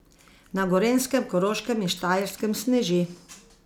Na Gorenjskem, Koroškem in Štajerskem sneži.